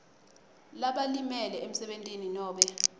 labalimele emsebentini nobe